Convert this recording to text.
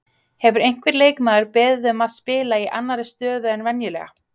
Hefur einhver leikmaður beðið um að spila í annari stöðu en venjulega?